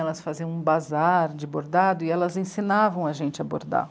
Elas faziam um bazar de bordado e elas ensinavam a gente a bordar.